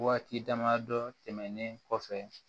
Waati damadɔ tɛmɛnlen kɔfɛ